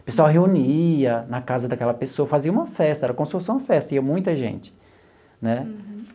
O pessoal reunia na casa daquela pessoa, fazia uma festa, era como se fosse uma festa, ia muita gente né. Uhum.